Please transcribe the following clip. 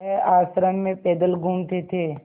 वह आश्रम में पैदल घूमते थे